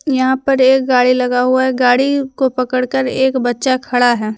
यहां पर एक गाड़ी लगा हुआ है गाड़ी को पड़कर एक बच्चा खड़ा है।